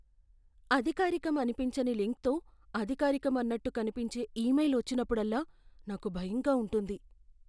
అధికారికం అనిపించని లింక్తో అధికారికం అన్నట్టు కనిపించే ఈమెయిల్ వచ్చినప్పుడల్లా నాకు భయంగా ఉంటుంది.